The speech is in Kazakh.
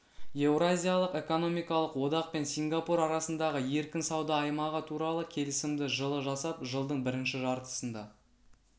еуразиялық экономикалық одақ пен сингапур арасындағы еркін сауда аймағы туралы келісімді жылы жасап жылдың бірінші жартысында